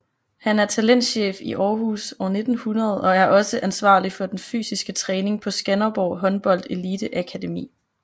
Han er talentchef i Aarhus 1900 og er også ansvarlig for den fysiske træning på Skanderborg Håndbold Elite Akademi